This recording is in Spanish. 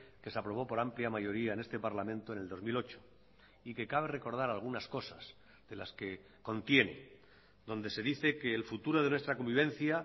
que se aprobó por amplia mayoría en este parlamento en el dos mil ocho y que cabe recordar algunas cosas de las que contiene donde se dice que el futuro de nuestra convivencia